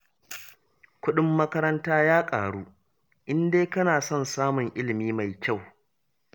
Kuɗin makaranta ya ƙaru, in dai kana son samun ilimi mai kyau